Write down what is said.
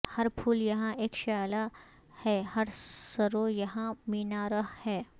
ہر پھول یہاں اک شعلہ ہے ہر سرو یہاں مینارہ ہے